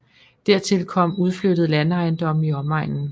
Dertil kom udflyttede landejendomme i omegnen